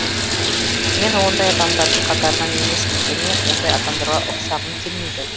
мен ондай адамдардың қатарыннан емеспін және ондай адамдарға ұқсағым келмейді